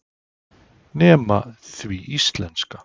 Nema því íslenska.